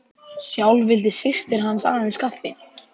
Sjálf vildi systir hans aðeins kaffi.